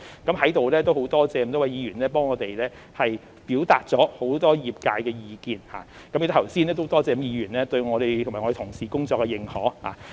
我們在此感謝各位議員表達了很多業界的意見，也感謝剛才各位議員對我們和同事工作的認可。